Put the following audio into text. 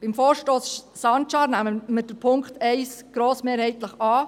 Beim Vorstoss Sancar nehmen wir Punkt 1 grossmehrheitlich an.